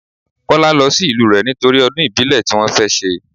Kọ́lá lọ sí ìlú rẹ nítorí ọdún ìbílẹ̀ tí wọn fẹ́ ṣe.